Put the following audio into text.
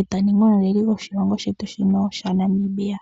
eta ningi omuleli gwetu goshigwana shaNamibia.